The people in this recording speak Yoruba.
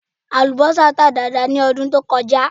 Àlùbọ́sà tà dáadáa ní ọdún tó kọjá